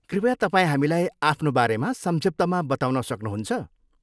कृपया तपाईँ हामीलाई आफ्नो बारेमा संक्षिप्तमा बताउन सक्नुहुन्छ?